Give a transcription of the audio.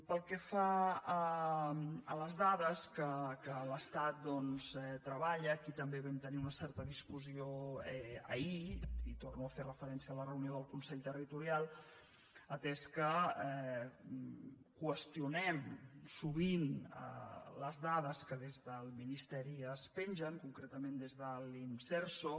pel que fa a les dades que l’estat treballa aquí també vam tenir una certa discussió ahir i torno a fer referència a la reunió del consell territorial atès que qüestionem sovint les dades que des del ministeri es pengen concretament des de l’inserso